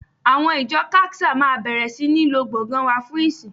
Àwọn ìjọ CACSA máa bẹ̀rẹ̀ sí ní lo gbọ̀ngàn wa fún ìsìn